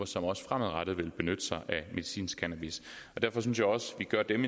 som også fremadrettet vil benytte sig af medicinsk cannabis derfor synes jeg også vi gør dem